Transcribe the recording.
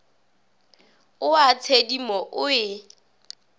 o a tshedimo o e